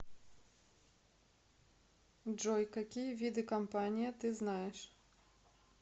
джой какие виды компания ты знаешь